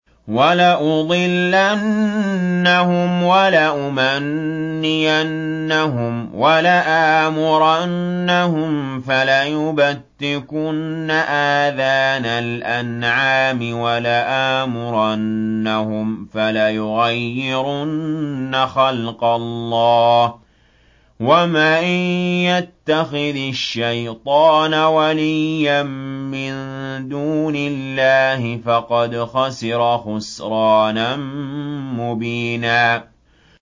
وَلَأُضِلَّنَّهُمْ وَلَأُمَنِّيَنَّهُمْ وَلَآمُرَنَّهُمْ فَلَيُبَتِّكُنَّ آذَانَ الْأَنْعَامِ وَلَآمُرَنَّهُمْ فَلَيُغَيِّرُنَّ خَلْقَ اللَّهِ ۚ وَمَن يَتَّخِذِ الشَّيْطَانَ وَلِيًّا مِّن دُونِ اللَّهِ فَقَدْ خَسِرَ خُسْرَانًا مُّبِينًا